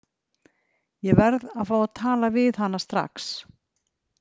Ég verð að fá að tala við hana strax